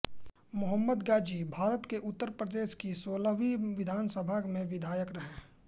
मो गाजीभारत के उत्तर प्रदेश की सोलहवीं विधानसभा सभा में विधायक रहे